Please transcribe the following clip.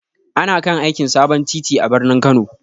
Ana kan aikin sabon titi a birnin Kano.